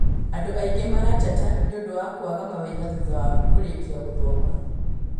Andũ aingĩ marateta nĩũndũ wa kwaga mawĩra thutha wa kũrĩkia gũthoma